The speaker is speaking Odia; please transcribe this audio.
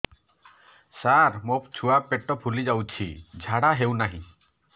ସାର ମୋ ଛୁଆ ପେଟ ଫୁଲି ଯାଉଛି ଝାଡ଼ା ହେଉନାହିଁ